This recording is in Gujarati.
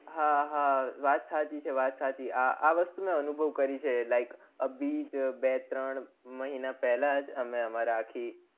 હા હા વાત સાચી છે હા વાત સાચી આ વસ્તુ મેં અનુભવ કરી છે like અભિજ બે ત્રણ મહિના પેલાજ અમે અમારાં આખી